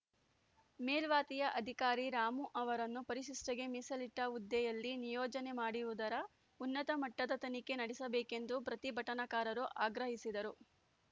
ಮೇಲ್ವಾತಿಯ ಅಧಿಕಾರಿ ರಾಮು ಅವರನ್ನು ಪರಿಶಿಷ್ಟರಿಗೆ ಮೀಸಲಿಟ್ಟ ಹುದ್ದೆಯಲ್ಲಿ ನಿಯೋಜನೆ ಮಾಡಿರುವುದರ ಉನ್ನತ ಮಟ್ಟದ ತನಿಖೆ ನಡೆಸಬೇಕೆಂದು ಪ್ರತಿಭಟನಾಕಾರರು ಆಗ್ರಹಿಸಿದರು